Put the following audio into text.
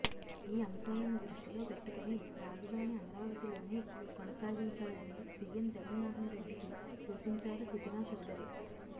ఈ అంశాలను దృష్టిలో పెట్టుకొని రాజధాని అమరావతిలోనే కొనసాగించాలని సీఎం జగన్మోహన్ రెడ్డికి సూచించారు సుజనా చౌదరి